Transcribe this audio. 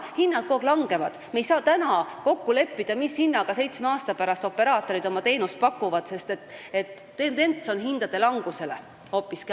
Hinnad kogu aeg langevad, me ei saa täna kokku leppida, mis hinnaga seitsme aasta pärast operaatorid oma teenust pakuvad, sest tendents on hoopiski hindade langus.